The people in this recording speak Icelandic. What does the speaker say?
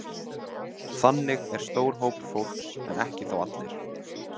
Þannig er stór hópur fólks, en ekki þó allir.